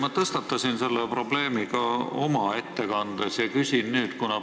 Ma tõstatasin selle probleemi oma ettekandes ja küsin seda ka nüüd.